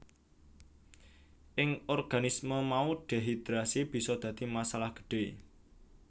Ing organisme mau dehidrasi bisa dadi masalah gedhé